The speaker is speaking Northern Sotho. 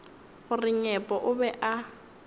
gore nyepo o be a